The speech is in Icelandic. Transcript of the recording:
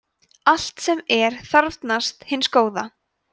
allt sem er þarfnast hins góða